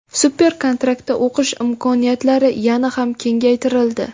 Super-kontraktda o‘qish imkoniyatlari yana ham kengaytirildi.